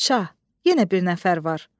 Şah, yenə bir nəfər var.